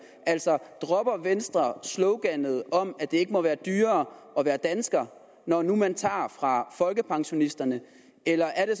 altså dropper venstre sloganet om at det ikke må være dyrere at være dansker når nu man tager fra folkepensionisterne eller er det